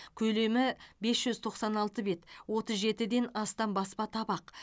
көлемі бес жүз тоқсан алты бет отыз жетіден астам баспа табақ